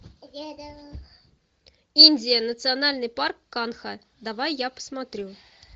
индия национальный парк канха давай я посмотрю